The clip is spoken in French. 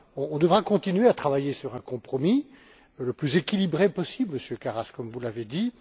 On devra continuer à travailler sur un compromis, le plus équilibré possible Monsieur Karas, vous l'avez dit.